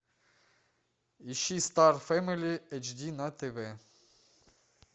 ищи стар фэмили эйч ди на тв